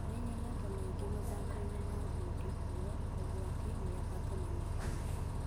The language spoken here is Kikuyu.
Nĩnyonete maingĩ mathakonĩ ma ngundi: ruo, ũgwati, mĩabato na mĩikũruko.